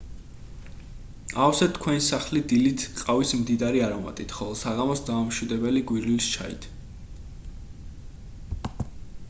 აავსეთ თქვენი სახლი დილით ყავის მდიდარი არომატით ხოლო საღამოს დამამშვიდებელი გვირილის ჩაით